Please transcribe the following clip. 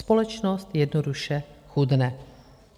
Společnost jednoduše chudne.